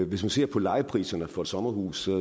hvis man ser på lejepriserne for sommerhuse